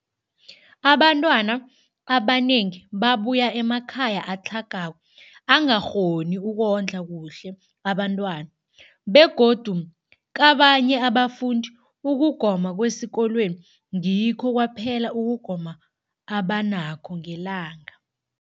Abantwana abanengi babuya emakhaya atlhagako angakghoni ukondla kuhle abentwana, begodu kabanye abafundi, ukugoma kwesikolweni ngikho kwaphela ukugoma abanakho ngelanga.